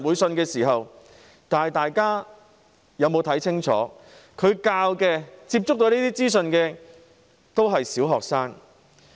大家清楚看到，他們所教導的、接觸這些資訊的都是小學生。